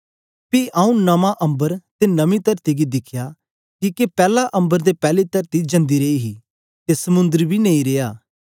पी आऊँ नमां अम्बर ते नमी तरती गी दिखया किके पैला अम्बर ते पैली तरती जांदी रेई हे ते समुंद्र बी नेई रेया